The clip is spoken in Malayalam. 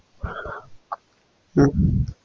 ഉം